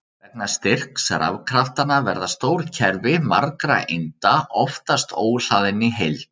Vegna styrks rafkraftanna verða stór kerfi margra einda oftast óhlaðin í heild.